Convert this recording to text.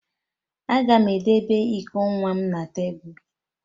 Aga m edebe iko nwa m na tebụl